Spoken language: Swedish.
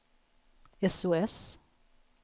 sos